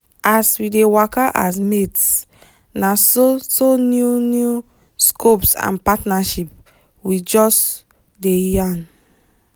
as we dey waka as mates naso so new new scopes and partnership we just dey yan